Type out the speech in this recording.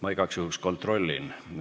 Ma igaks juhuks kontrollin.